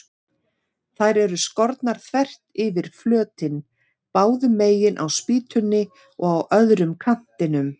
Þær eru skornar þvert yfir flötinn, báðu megin á spýtunni og á öðrum kantinum.